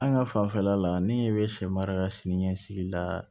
An ka fanfɛla la ne bɛ sɛ mara ka siniɲɛsigi la